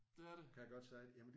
Det er det?